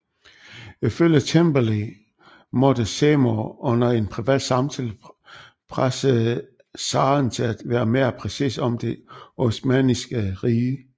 Ifølge Temperley måtte Seymour under en privat samtale presse zaren til at være mere præcis om det osmanniske rige